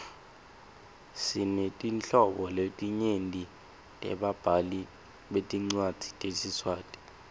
sinetinhlobo letinyenti tebabhali betincwadzi tesiswati